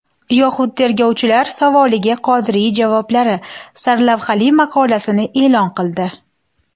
Yoxud tergovchilar savoliga Qodiriy javoblari” sarlavhali maqolasini e’lon qildi .